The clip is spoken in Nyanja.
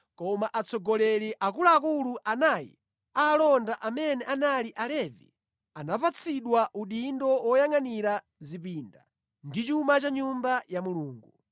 Koma atsogoleri akuluakulu anayi a alonda, amene anali Alevi, anapatsidwa udindo woyangʼanira zipinda ndi chuma cha nyumba ya Mulungu.